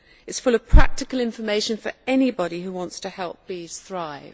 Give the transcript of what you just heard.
It is full of practical information for anybody who wants to help bees thrive.